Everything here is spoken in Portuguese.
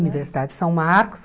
Universidade de São Marcos.